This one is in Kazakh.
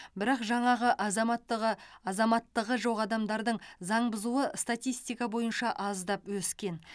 бірақ жаңағы азаматтығы азаматтығы жоқ адамдардың заң бұзуы статистика бойынша аздап өскен